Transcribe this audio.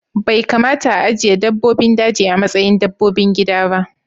Bai kamata a ajiye dabbobin daji a matsayin dabbobin gida ba